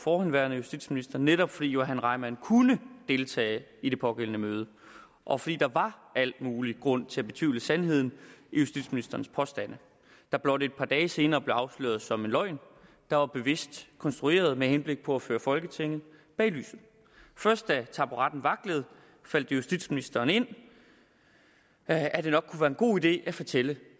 forhenværende justitsminister netop fordi johan reimann kunne deltage i det pågældende møde og fordi der var al mulig grund til at betvivle sandheden i justitsministerens påstande der blot et par dage senere blev afsløret som en løgn der var bevidst konstrueret med henblik på at føre folketinget bag lyset først da taburetten vaklede faldt det justitsministeren ind at at det nok kunne være en god idé at fortælle